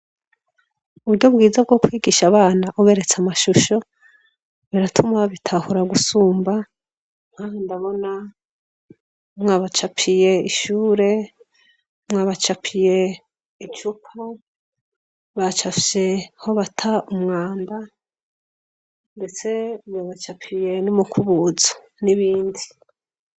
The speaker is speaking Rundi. Uburyo bwiza bwo kwigisha abana uberetse amashusho ,biratuma babitahura gusumba ,nkaha ndabona mwabacapiye ishure, mwabacapiye icupa, bacapfye aho bata umwanda ,ndetse mwabacapiye n'umukubuzo , n'ibindi.